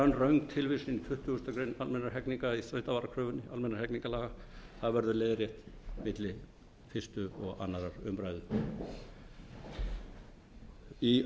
virkum hætti þar er önnur röng tilvísun í tuttugustu greinar almennra hegningarlaga í þrautavarakröfunni en það verður leiðrétt milli fyrstu og annarrar umræðu í